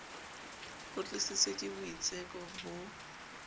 ho tlisitswe ke boitseko bo